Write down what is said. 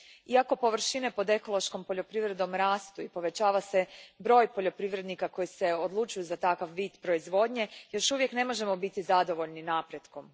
Iako površine pod ekološkom poljoprivredom rastu i povećava se broj poljoprivrednika koji se odlučuju za takav vid proizvodnje, još uvijek ne možemo biti zadovoljni napretkom.